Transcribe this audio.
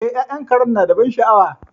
E, ya'yan Karen nada ban sha'awa.